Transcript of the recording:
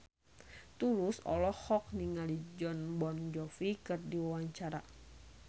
Tulus olohok ningali Jon Bon Jovi keur diwawancara